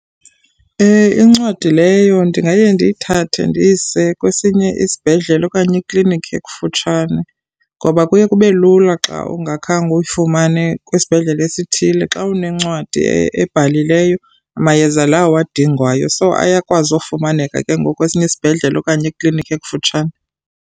Incwadi leyo ndingaye ndiyithathe ndiyise kwesinye isibhedlele okanye ikliniki ekufutshane ngoba kuye kube lula xa ungakhange uyifumane kwisibhedlele esithile xa unencwadi ebhalilweyo mayeza lawo uwadingayo. So, ayakwazi ufumaneka kengoku kwesinye isibhedlele okanye ekliniki ekufutshane.